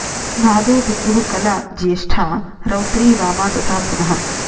नादो बिन्दुः कला ज्येष्टा रौद्रीई वामा तथा पुनः